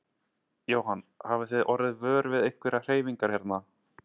Jóhann: Hafið þið orðið vör við einhverjar hreyfingar hérna?